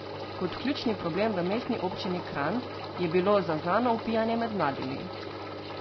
Kot ključni problem v Mestni občini Kranj je bilo zaznano opijanje med mladimi.